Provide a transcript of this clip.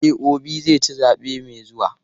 E, Obi zai ci zaɓe mai zuwa.